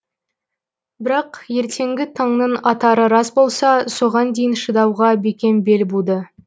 бірақ ертеңгі таңның атары рас болса соған дейін шыдауға бекем бел буды